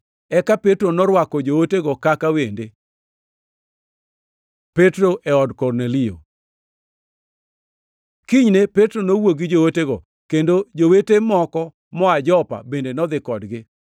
Eka Petro norwako jootego kaka wende. Petro e od Kornelio Kinyne Petro nowuok gi jootego, kendo jowete moko moa Jopa bende nodhi kodgi.